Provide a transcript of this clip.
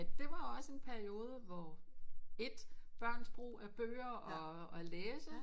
Men det var også en periode hvor et børns brug af bøger og at læse